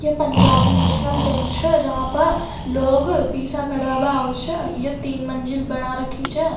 Punjab national bank छे जहा पे लोग पिसा खड़वा बा आउ छे यह तीन मंजिल बना रखी छे।